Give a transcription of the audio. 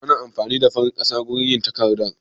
Ana amfani da farar ƙasa wurin yin takarda?